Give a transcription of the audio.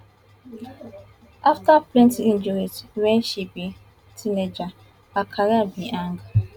afta plenty injuries wen she be teenager her career bin hang